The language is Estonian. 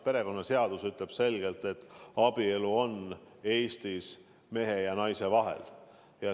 Perekonnaseadus ütleb selgelt, et abielu on Eestis mehe ja naise vahel.